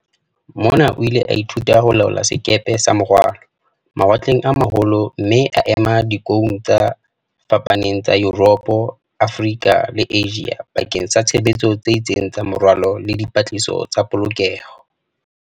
Mona o ile a ithuta ho laola sekepe sa morwalo, mawatleng a ma holo mme a ema dikoung tse fapaneng tsa Yuropo, Afrika le Asia bakeng sa tshebetso tse itseng tsa morwalo le di -patlisiso tsa polokeho.